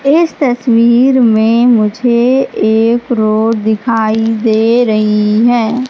इस तस्वीर में मुझे एक रोड दिखाई दे रही हैं।